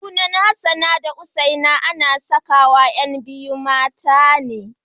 Sunan Hassana da Husaina ana sakawa ƴan biyu mata ne.